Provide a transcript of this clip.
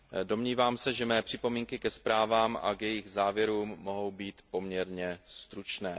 Domnívám se, že mé připomínky ke zprávám a k jejich závěrům mohou být poměrně stručné.